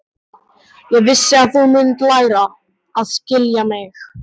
Ég vissi að þú mundir læra að skilja mig.